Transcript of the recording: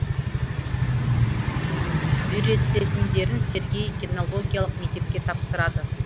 үйретілетіндерін сергей кинологиялық мектепке тапсырады